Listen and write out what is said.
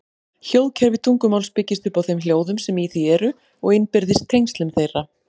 Hljóðkerfi tungumáls byggist upp á þeim hljóðum sem í því eru og innbyrðis tengslum þeirra.